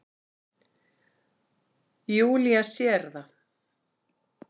Júlía sér það.